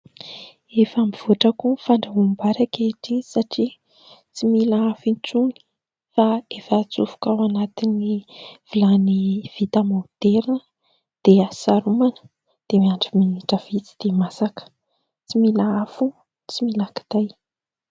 Efa mivoatra koa ny fandrahoam-bary ankehitriny, satria tsy mila afo intsony fa efa atsofoka ao anatin'ny vilany vita moderina dia saromana, dia miandry minitra vitsy dia masaka ; tsy mila afo, tsy mila kitay.